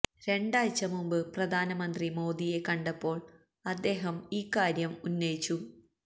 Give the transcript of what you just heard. രണ്ടാഴ്ച മുമ്പ് പ്രധാനമന്ത്രി മോദിയെ കണ്ടപ്പോള് അദ്ദേഹം ഈ കാര്യം ഉന്നയിച്ചു